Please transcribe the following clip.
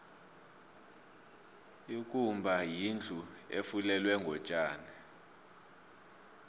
ikumba yindlu efulelwe ngotjani